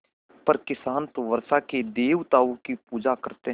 पर किसान तो वर्षा के देवताओं की पूजा करते हैं